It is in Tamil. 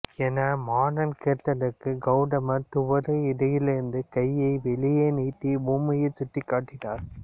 என மாரன் கேட்டதற்கு கௌதமர் துவராடையிலிருந்து கையை வெளியே நீட்டி பூமியைச் சுட்டிக்காட்டினார்